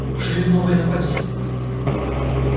неужели новое нападение